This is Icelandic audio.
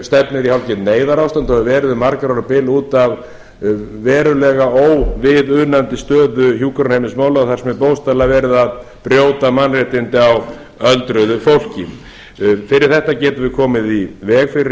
stefnir í hálfgert neyðarástand og hefur verið um margra ára bil út af verulega óviðunandi stöðu hjúkrunarheimilismála þar sem er bókstaflega verið að brjóta mannréttindi á öldruðu fólki fyrir þetta getum við komið í veg fyrir